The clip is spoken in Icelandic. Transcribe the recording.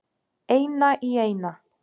Eina í eina.